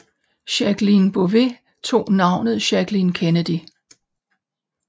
Jacqueline Bouvier tog navnet Jacqueline Kennedy